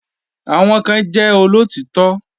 Àwọn kan jẹ́ olóòtítọ́